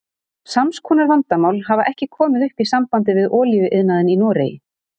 Sams konar vandamál hafa ekki komið upp í sambandi við olíuiðnaðinn í Noregi.